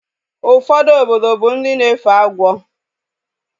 Ụfọdụ obodo bụ ndị na-efe agwọ